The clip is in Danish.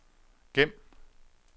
gem